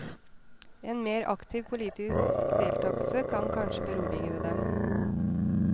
En mer aktiv politisk deltagelse kan kanskje berolige dem.